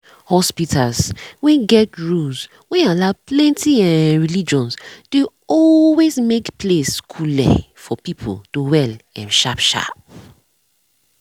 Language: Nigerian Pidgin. hospitas wen get rules wen allow plenti um relgions dey always make place cooleee for pipu to well um sharp sharp